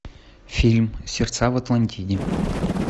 фильм сердца в атлантиде